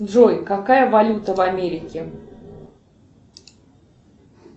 джой какая валюта в америке